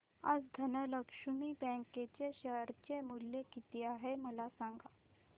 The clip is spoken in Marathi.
आज धनलक्ष्मी बँक चे शेअर चे मूल्य किती आहे मला सांगा